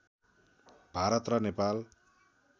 भारत र नेपाल